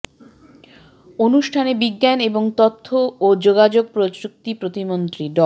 অনুষ্ঠানে বিজ্ঞান এবং তথ্য ও যোগাযোগ প্রযুক্তি প্রতিমন্ত্রী ড